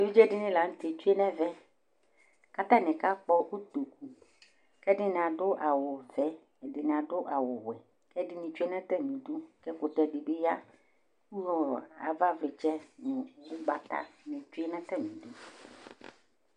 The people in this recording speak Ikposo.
Evɩdze dinɩ lanutɛ atsue nɛvɛ katani aka kpɔ ʊto, kɛdini adu awu vɛ, kɛdini adʊ awʊ wɛ, kɛdinɩbi tsue natamidʊ, kɛkʊtɛ dɩbɩ ya, kʊ avavlɩtsɛ nʊgbatanɩ tsue natamidʊ